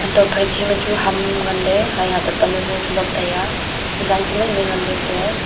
hantohley phai che ma chu ham ngan le hai hato pan hajo chu lot taiya jang chu mai mai ngan le kuiye.